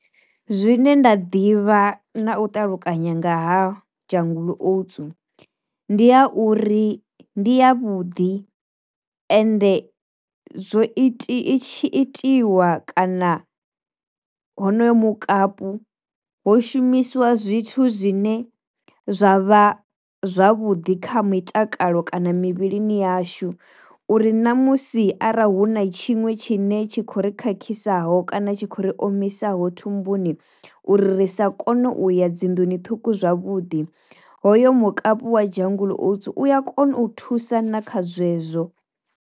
Zwine nda ḓivha na u ṱalukanya nga ha jungle oats ndi a uri ndi ya vhuḓi, ende zwo ita i tshi itiwa kana honoyo mukapu ho shumiswa zwithu zwine zwavha zwavhuḓi kha mitakalo kana mivhilini yashu uri namusi arali hu na tshiṅwe tshine tshi kho ri khakhisa ho kana tshi khou ri omisaho thumbuni uri ri sa kone uya dzinḓuni ṱhukhu zwavhuḓi, hoyo mukapi wa jungle oats u ya kona u thusa na kha zwezwo.